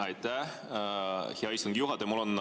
Aitäh, hea istungi juhataja!